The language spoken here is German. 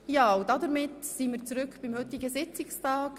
Damit sind wir zurück beim heutigen Sitzungstag.